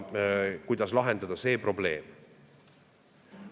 Kuidas lahendada see probleem?